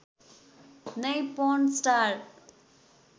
नै पर्न स्टार